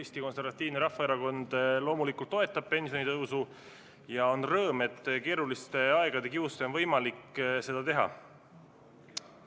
Eesti Konservatiivne Rahvaerakond loomulikult toetab pensionitõusu ja on rõõm, et keeruliste aegade kiuste on võimalik seda teha.